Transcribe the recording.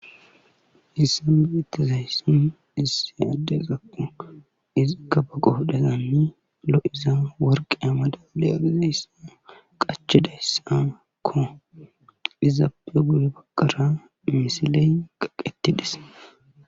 Haysan beetizayssi issi addezakko ikka ba qoodheni lo'iza worqe madaliya giza qachizayssakko izappe guye bagara misile kaqetis